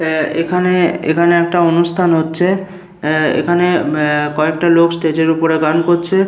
এ-এখানে এখানে একটা অনুষ্ঠান হচ্ছে। এ-এখানে এ-কয়েকটা লোক স্টেজ -এর উপরে গান করছে।